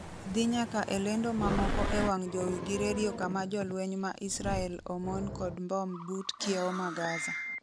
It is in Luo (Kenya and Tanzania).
dhi nyaka e lendo mamoko e wang' jowi gi redio kama jolweny ma Israel omon kod mbom but kiewo ma Gaza